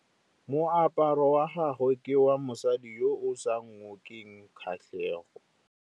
Moaparô wa gagwe ke wa mosadi yo o sa ngôkeng kgatlhegô.